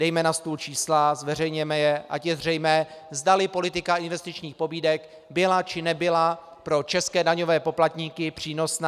Dejme na stůl čísla, zveřejněme je, ať je zřejmé, zdali politika investičních pobídek byla, či nebyla pro české daňové poplatníky přínosná.